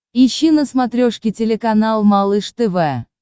ищи на смотрешке телеканал малыш тв